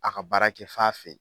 A ka baara kɛ f'a fɛ ye.